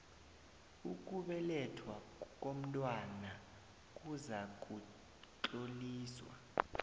ukubelethwa komntwana kuzakutloliswa